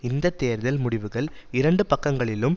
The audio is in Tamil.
இந்த தேர்தல் முடிவுகள் இரண்டு பக்கங்களிலும்